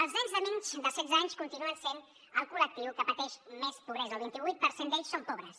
els nens de menys de setze anys continuen sent el collectiu que pateix més pobresa el vint vuit per cent d’ells són pobres